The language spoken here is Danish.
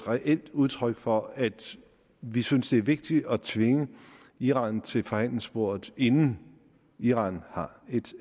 reelt udtryk for at vi synes det er vigtigt at tvinge iran til forhandlingsbordet inden iran har